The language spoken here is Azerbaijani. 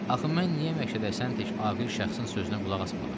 Axı mən niyə Məşəd Həsən tək ağıl şəxsin sözünə qulaq asmadım?